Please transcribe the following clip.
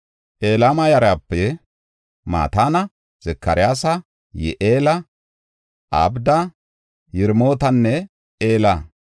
Elama yarape Mataana, Zakaryaasa, Yi7eela, Abda, Yiremootanne Ela.